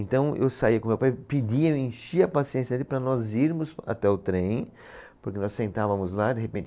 Então eu saía com meu pai, pedia, eu enchia a paciência dele para nós irmos até o trem, porque nós sentávamos lá de repente